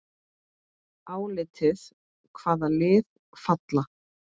Álitið: Hvaða lið falla?